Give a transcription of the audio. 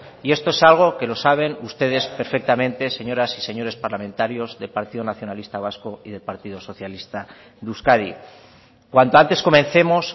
y eso es algo que lo saben ustedes perfectamente señoras y señores parlamentarios del partido nacionalista vasco y del partido socialista de euskadi cuanto antes comencemos